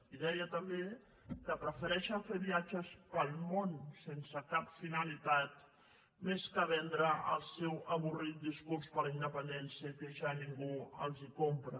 i deia també que prefereixen fer viatges pel món sense cap finalitat més que vendre el seu avorrit discurs per la independència que ja ningú els compra